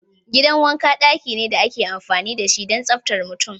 Gidan wanka daki ne da ake amfani da shi don tsaftar mutum.